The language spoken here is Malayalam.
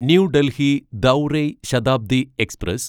ന്യൂ ഡൽഹി ദൗറൈ ശതാബ്ദി എക്സ്പ്രസ്